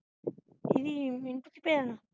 ਕੀ ਦੀ ਮਿੰਟੂ ਦੀ ਭੈਣ